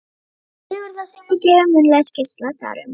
Ágústi Sigurðssyni, gefin munnleg skýrsla þar um.